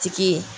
Tigi